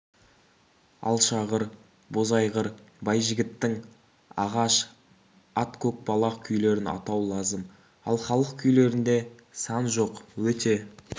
алшағыр бозайғыр байжігіттің ағаш ат көкбалақ күйлерін атау лазым ал халық күйлерінде сан жоқ өте